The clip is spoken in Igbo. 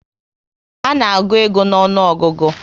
A na agụ ego n'onuogugu